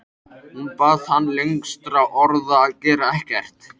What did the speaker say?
Hún bað hann lengstra orða að gera ekkert.